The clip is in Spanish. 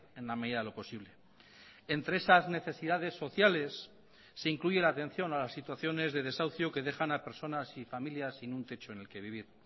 en la medida de lo posible entre esas necesidades sociales se incluye la atención a las situaciones de desahucio que dejan a personas y familias sin un techo en el que vivir